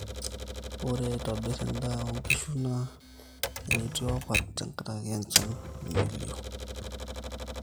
ore aitobir endaa oo nkishu naa enetiopat tenkaraki enchan nemelioo